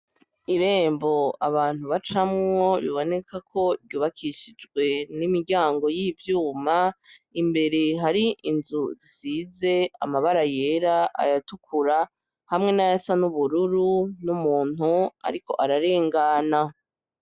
Irembo abantu bacamwo bibonekako ryubakishijwe n'imiryango y'ivyuma, imbere hari inzu zisize amabara yera, ayatukura hamwe nayasa nubururu n'umuntu ariko ararengana.